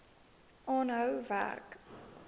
aanhou werk